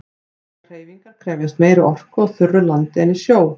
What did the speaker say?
Allar hreyfingar krefjast meiri orku á þurru landi en í sjó.